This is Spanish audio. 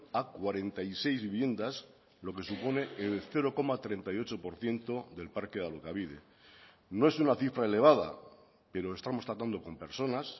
a cuarenta y seis viviendas lo que supone el cero coma treinta y ocho por ciento del parque de alokabide no es una cifra elevada pero estamos tratando con personas